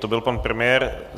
To byl pan premiér.